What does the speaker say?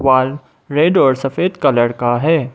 वाल रेड और सफेद कलर का है।